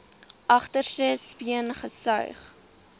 agterste speen gesuig